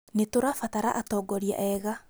Nĩtũrabatara atongoria ega